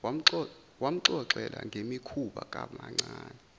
wamxoxela ngemikhuba kamamncane